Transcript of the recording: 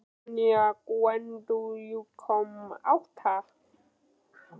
Tanja, hvenær kemur áttan?